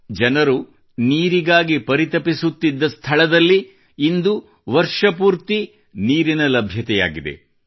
ಜನರು ನೀರಿಗಾಗಿ ಪರಿತಪಿಸುತ್ತಿದ್ದ ಸ್ಥಳದಲ್ಲಿ ಇಂದು ವರ್ಷಪೂರ್ತಿ ನೀರಿನ ಲಭ್ಯತೆ ದೊರೆತಿದೆ